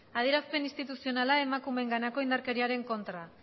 adierazpen instituzionala emakumeenganako indarkeriaren kontra